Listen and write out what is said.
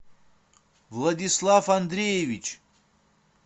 владислав андреевич